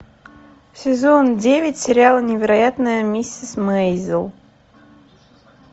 сезон девять сериала невероятная миссис мейзел